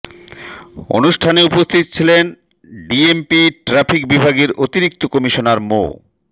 অ্রনুষ্ঠানে উপস্থিত ছিলেন DMP traffic বিভাগের অতিরিক্ত কমিশনার মো